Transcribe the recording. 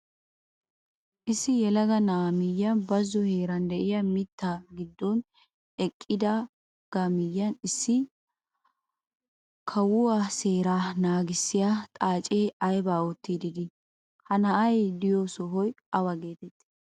Issi yelaga na'aa miyiyaan bazo heeran de'iyaa mitta giddon eqqidaagaa miyiyaan issi kawuwaa seeraa nagissiyaa xaacee aybaa oottiidi de'ii? ha na'ay de'iyoo sohoy awa getettii?